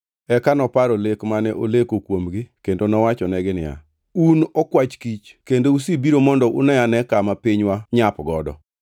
Eka noparo lek mane oleko kuomgi kendo nowachonegi niya, “Un okwach kich! Kendo usebiro mondo une-ane kama pinywa nyapgodo.”